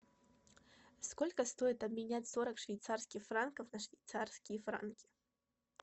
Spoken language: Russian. сколько стоит обменять сорок швейцарских франков на швейцарские франки